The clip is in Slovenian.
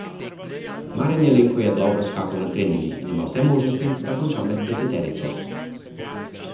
Marjan Jelenko je dobro skakal na treningih in ima vse možnosti, da konča med deseterico.